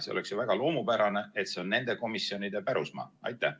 See oleks ju väga loomupärane, et see on nende komisjonide pärusmaa.